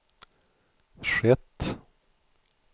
skett